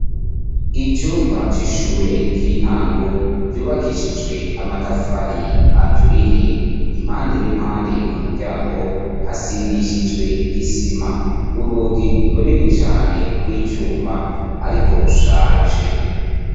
Icumba c'ishure ry'intango, ryubakishijwe amatafari aturiye ,impande n'impande ku muryango hasigishijwe isima, urugi runini cane rw'icuma ariko rushaje.